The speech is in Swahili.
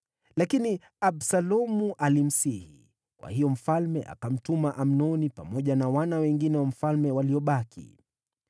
Lakini Absalomu alimsihi, kwa hiyo mfalme akamtuma Amnoni pamoja na wana wengine wa mfalme waliobaki.